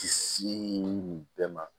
Ti nin bɛɛ ma